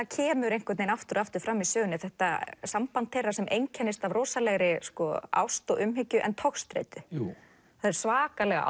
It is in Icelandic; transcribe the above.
kemur aftur og aftur fram í sögunni þetta samband þeirra sem einkennist af rosalegri ást og umhyggju en togstreitu það er svakalega